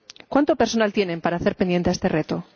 ¿Cuánto personal tienen para hacer frente a este reto?